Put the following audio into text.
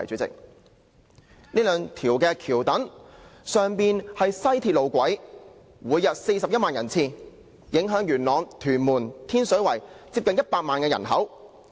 這兩條橋躉上面是西鐵路軌，每天有41萬人次經過，影響元朗、天水圍和屯門接近100萬人口。